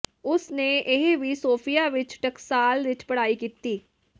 ਉਸ ਨੇ ਇਹ ਵੀ ਸੋਫੀਆ ਵਿੱਚ ਟਕਸਾਲ ਵਿਚ ਪੜ੍ਹਾਈ ਕੀਤੀ